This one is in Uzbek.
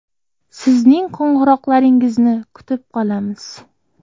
Sizning qo‘ng‘iroqlaringizni kutib qolamiz!